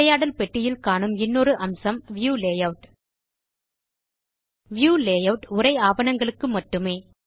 உரையாடல் பெட்டியில் காணும் இன்னொரு அம்சம் வியூ லேயூட் வியூ லேயூட் உரை ஆவணங்களுக்கு மட்டுமே